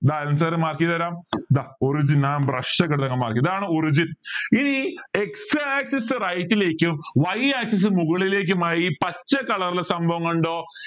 ദാ Alan sir mark ചെയ്തു തരാം ദാ origin ആ brush ഒക്കെ എടുത്ത് ഇതാണ് origin ഇനി x axis right ലേക്കും y axis മുകളിലേക്കുമായി പച്ച colour ലുള്ള സംഭവം കണ്ടോ